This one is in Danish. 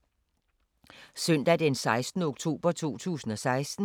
Søndag d. 16. oktober 2016